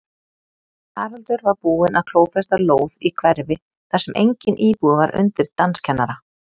Haraldur var búinn að klófesta lóð í hverfi þar sem enginn íbúi var undir danskennara.